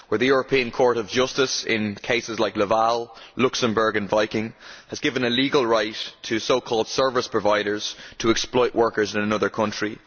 where the European Court of Justice in cases like Laval, Luxembourg and Viking has given a legal right to so called service providers to exploit workers in another country.